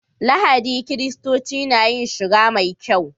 Lahadi kiristoci na yin shiga mai kyau.